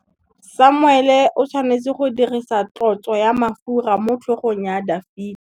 Samuele o tshwanetse go dirisa tlotsô ya mafura motlhôgong ya Dafita.